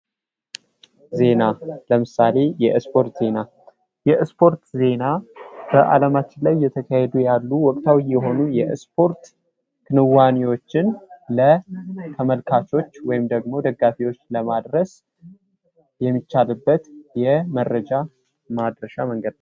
ዜና ለምሳሌ የስፖርት ዜና የስፖርት ዜና በአለማችን ላይ የተካሄዱ ያሉ ወቅታዊ የሆኑ የስፖርት ክንዋኔዎችን ለተመልካቾች ወይም ደጋፊዎች ለማድረስ የሚቻልበት የመረጃ ማድረሻ መንገድ ነው።